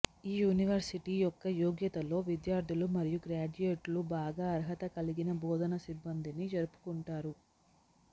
ఈ యూనివర్సిటీ యొక్క యోగ్యతలో విద్యార్ధులు మరియు గ్రాడ్యుయేట్లు బాగా అర్హత కలిగిన బోధనా సిబ్బందిని జరుపుకుంటారు